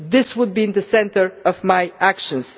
this would be at the centre of my actions.